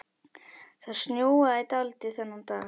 Það snjóaði dálítið þennan dag.